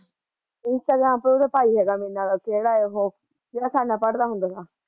Instagram ਪਰ ਉਹਦਾ ਭਾਈ ਹੈਗਾ ਮੇਰੇ ਨਾਲ਼, ਕਿਹੜਾ ਐ ਉਹ ਜਿਹੜਾ ਸਾਡੇ ਨਾਲ਼ ਪੜਦਾ ਹੁੰਦਾ ਤਾ